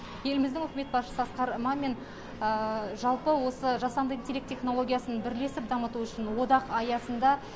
еліміздің үкімет басшысы асқар мамин жалпы осы жасанды интелект технологиясын бірлесіп дамыту үшін одақ аясында